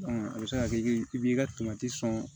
a bɛ se ka kɛ i b'i ka sɔn